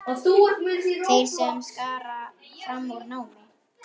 Þeir sem skara fram úr í námi.